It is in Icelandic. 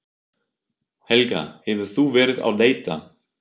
Helga: Hefur þú verið að leita?